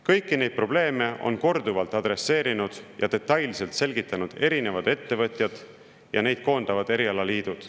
Kõiki neid probleeme on korduvalt adresseerinud ja detailselt selgitanud erinevad ettevõtjad ja neid koondavad erialaliidud.